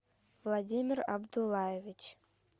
владимир абдулаевич